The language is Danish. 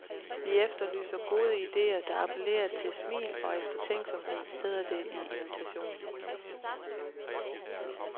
Vi efterlyser gode idéer, der appellerer til smil og eftertænksomhed, hedder det i invitationen.